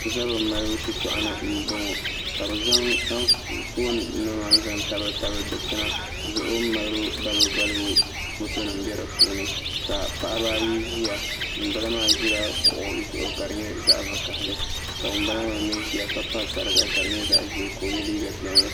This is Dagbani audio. Zabiri malibu shitoɣani n boŋo ka bi zaŋ anfooni nima n zaŋ tabili tabili dikpuni zuɣu malibi balibu balibu foto nim n bɛ dipuuni ka paɣaba ayi ʒiya ŋunbala maa ʒila kuɣu zuɣu ka di nyɛ zaɣ vakaɣili ka ŋun bala maa mii ʒiya ka pa sariga ka di nyɛ zaɣ ʒiɛ ka o yɛ liiga piɛlli